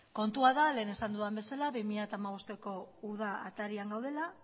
kontua da lehen esan dudan bezala bi mila hamabosteko uda atarian gaudela